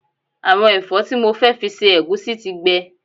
Àwọn ẹ̀fọ́ tí mo fẹ́ fi se ẹ̀gúsí ti gbẹ